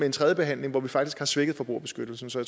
en tredje behandling hvor vi faktisk har svækket forbrugerbeskyttelsen så